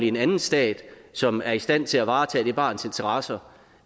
en anden stat som er i stand til at varetage barnets interesser